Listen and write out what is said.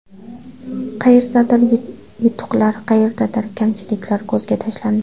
Qayerdadir yutuqlar, qayerdadir kamchiliklar ko‘zga tashlandi.